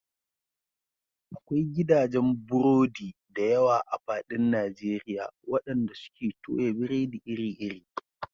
Akwai gidajen burodi da yawa a faɗin Najeriya waɗanda suke toya biredi iri-iri.